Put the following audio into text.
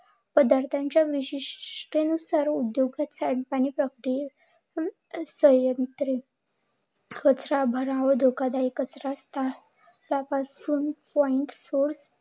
पदार्थांच्या विशिष्ट सांडपाणी, धोका दायक कचरा तपासून